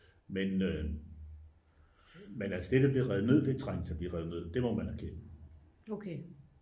men altså det der bliver revet ned det er trængt til at blive revet ned det må man erkende